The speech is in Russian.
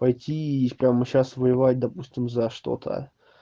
пойти и прямо сейчас воевать допустим за что-то